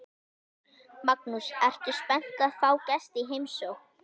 Magnús: Ertu spennt að fá gesti í heimsókn?